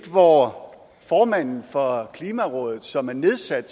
hvorom formanden for klimarådet som er nedsat